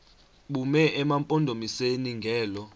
bume emampondomiseni ngelo